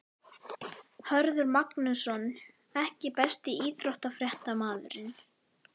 Hörður Magnússon EKKI besti íþróttafréttamaðurinn?